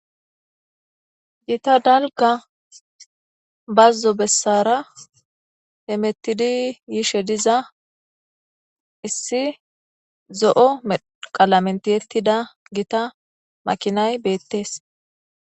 Giita dalgga baazo bessara hemmetidi yiishe diiza issi Zo'o medhdho qalammen tiyyetid gitta maakinay bettes.